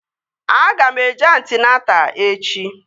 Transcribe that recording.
Aga m eje antịnata echi